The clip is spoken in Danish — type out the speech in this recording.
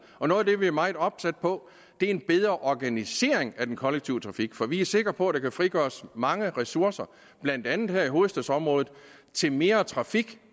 og noget af det vi er meget opsat på er en bedre organisering af den kollektive trafik for vi er sikre på at der kan frigøres mange ressourcer blandt andet her i hovedstadsområdet til mere trafik